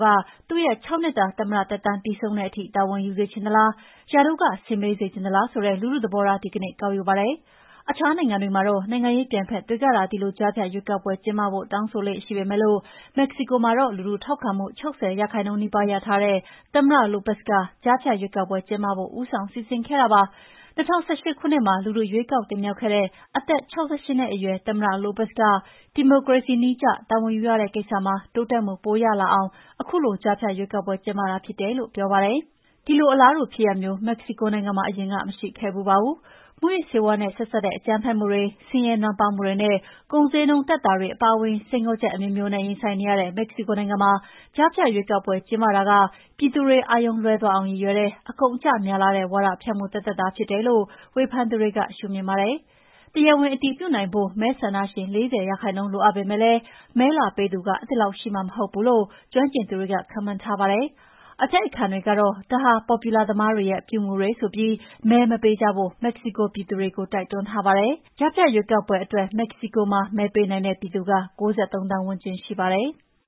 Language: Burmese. က သူ့ရဲ့ ၆ နှစ်တာ သမ္မတသက်တမ်း ပြီးဆုံးတဲ့အထိ တာဝန်ယူစေချင်သလား၊ ရာထူးက ဆင်းပေးစေချင်သလား ဆိုတဲ့ လူထုသဘောထား ဒီကနေ့ ကောက်ယူပါတယ်။ အခြားနိုင်ငံမှာတော့ နိုင်ငံရေးပြိုင်ဘက်တွေကသာ ဒီလို ကြားဖြတ်ရွေးကောက်ပွဲ ကျင်းပဖို့ တောင်းဆိုလေ့ရှိပေမယ့် မက္ကဆီကိုမှာတော့ လူထုထောက်ခံမှု ၆၀ ရာခိုင်နှုန်းနီးပါး ရထားတဲ့ သမ္မတ Lopez က ကြားဖြတ်ရွေးကောက်ပွဲ ကျင်းပဖို့ ဦးဆောင်စီစဉ်ခဲ့တာပါ။ ၂၀၁၈ ခုနှစ်မှာ လူထုက ရွေးကောက်တင်မြှောက်ခဲ့တဲ့ အသက် ၆၈ နှစ်အရွယ်သမ္မတ Lopez က ဒီမိုကရေစီနည်းကျ တာဝန်ယူရတဲ့ကိစ္စမှာ တိုးတက်မှုပိုရလာအောင် ခုလို ကြားဖြတ်ရွေးကောက်ပွဲ ကျင်းပတာ ဖြစ်တယ်လို့ ပြောပါတယ်။ ဒီလို အလားတူဖြစ်ရပ်မျိုး မက္ကဆီကိုနိုင်ငံမှာ အရင်က မရှိခဲ့ဖူးပါဘူး။ မူးယစ်ဆေးဝါးနဲ့ ဆက်စပ်တဲ့ အကြမ်းဖက်မှုတွေ၊ ဆင်းရဲနွမ်းပါးမှုတွေနဲ့ ကုန်ဈေးနှုန်း တက်တာတွေ အပါအဝင် စိန်ခေါ်ချက်အမျိုးမျိုးနဲ့ ရင်ဆိုင်နေရတဲ့ မက္ကဆီကိုနိုင်ငံမှာ ကြားဖြတ်ရွေေးကောက်ပွဲ ကျင်းပတာက ပြည်သူတွေ အာရုံလွဲသွားအောင် ရည်ရွယ်တဲ့ အကုန်အကျများလှတဲ့ ဝါဒဖြန့်မှုသက်သက်သာ ဖြစ်တယ်လို့ ဝေဖန်သူတွေက ရှုမြင်ပါတယ်။ တရားဝင် အတည်ပြုနိုင်ဖို့ မဲဆန္ဒရှင် ၄၀ ရာခိုင်နှုန်း လိုအပ်ပေမယ့် မဲလာပေးသူ အဲဒီလောက်ရှိမှာ မဟုတ်ဘူးလို့ ကျွမ်းကျင်သူတွေက ခန့်မှန်းထားပါတယ်။ အတိုက်အခံတွေကတော့ ဒါဟာ ပေါ်ပြူလာသမားတွေရဲ့ အပြုအမူတွေ ဆိုပြီး မဲမပေးကြဖို့ မက္ကဆီကို ပြည်သူတွေကို တိုက်တွန်းထားပါတယ်။ ကြားဖြတ်ရွေးကောက်ပွဲအတွက် မဲပေးနိုင်တဲ့ ပြည်သူ ၉၃ သန်းဝန်းကျင် ရှိပါတယ်။